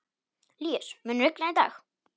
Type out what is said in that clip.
Líus, mun rigna í dag?